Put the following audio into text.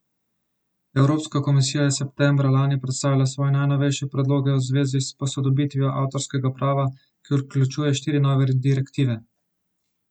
Evropska komisija je septembra lani predstavila svoje najnovejše predloge v zvezi s posodobitvijo avtorskega prava, ki vključuje štiri nove direktive.